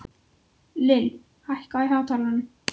Lill, hækkaðu í hátalaranum.